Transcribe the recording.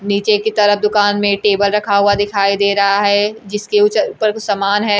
नीचे की तरफ दुकान में टेबल रखा हुआ दिखाई दे रहा है जिसके उचर ऊपर कुछ सामान है।